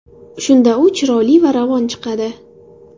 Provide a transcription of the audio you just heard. Shunda u chiroyli va ravon chiqadi.